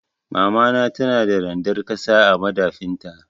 Mamana tana da randar ƙasa a madafin ta.